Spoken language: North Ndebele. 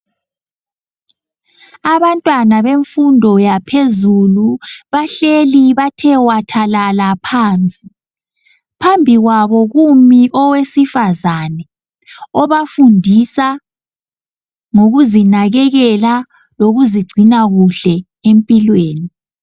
Abantwana bemfundo yaphezulu bahleli bathe wathalala phansi phambi kwabo kumi owesifazane obafundisa ngokuzinakekela lokuzigcina kuhle empilweni.